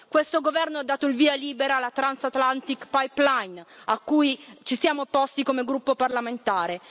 Questo governo ha dato il via libera alla Transatlantic pipeline a cui ci siamo opposti come gruppo parlamentare.